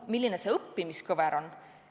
Milline see õppimiskõver on?